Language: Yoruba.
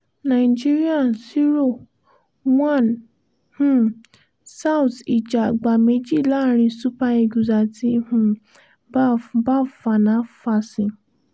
nigeria 0-1 um south ija àgbà méjì láàrin super eagles àti um baf baf fanafási